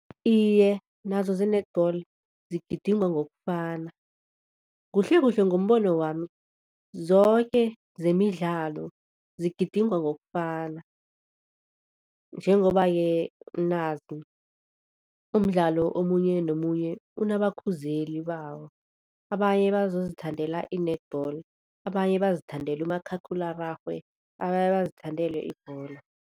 Iye, nazo ze-netball zigidingwa ngokufana kuhlkuhle ngombono wami, zoke zemidlalo zigidingwa ngokufana. Njengoba-ke nazi umdlalo omunye nomunye unabakhuzeli bawo, abanye bazozithandela i-netball, abanye bazithandela umakhakhulararhwe, abanye bazithandele ibholo.